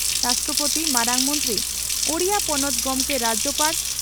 ᱢᱟᱨᱟᱝ ᱢᱚᱱᱛᱨᱤ ᱳᱰᱤᱥᱟ ᱯᱚᱱᱚᱛ ᱜᱚᱢᱠᱮ (ᱨᱟᱡᱭᱚᱯᱟᱲ)